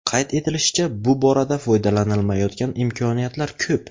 Qayd etilishicha, bu borada foydalanilmayotgan imkoniyatlar ko‘p.